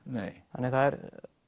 þannig að það er